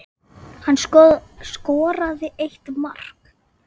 Hann skoraði eitt mark.